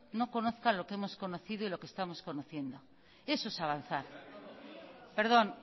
no conozcan lo que hemos conocido y lo que estamos conociendo eso es avanzar perdón